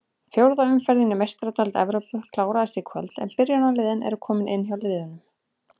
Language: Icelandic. Fjórða umferðin í Meistaradeild Evrópu klárast í kvöld en byrjunarliðin eru komin inn hjá liðunum.